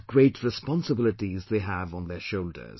What great responsibilities they have on their shoulders